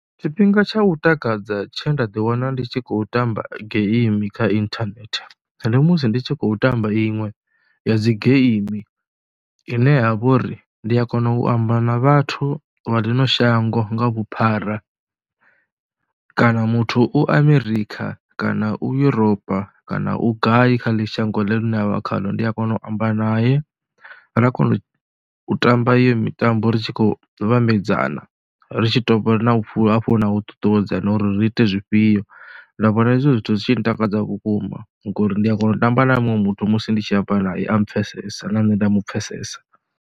Tshifhinga tsha u takadza tshe nda ḓiwana ndi tshi khou tamba game kha inthanethe ende musi ndi tshi khou tamba iṅwe ya dzi game ine ya vha uri ndi a kona u amba na vhathu vha ḽino shango nga vhuphara kana muthu u Amerikha kana u Yuropa kana u gai kha ḽeḽo shango a vha khaḽo. Ndi a kona u amba nae ra kona u tamba iyo mitambo ri tshi khou vhambedzea kana ri tshi dovha hafhu na u ṱuṱuwedza na uri ri ite zwifhio. Ndo vhona hezwo zwithu zwi tshi ntakadza vhukuma ngori ndi a kona u tamba na muṅwe muthu musi ndi tshi amba nae a mpfhesesa na nṋe nda mu pfhesesa.